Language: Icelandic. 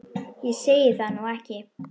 Ég segi það nú ekki.